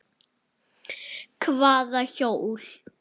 Hvaða hjól?